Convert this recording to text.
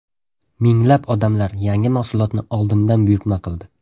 Minglab odamlar yangi mahsulotni oldindan buyurtma qildi.